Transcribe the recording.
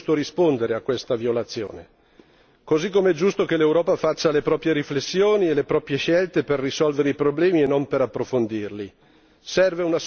e perciò è giusto rispondere a questa violazione, così come è giusto che l'Europa faccia le proprie riflessioni e le proprie scelte per risolvere i problemi e non per approfondirli.